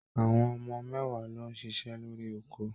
Àwọn ọmọ mẹ́wàá ló ń ṣiṣẹ́ lórí oko.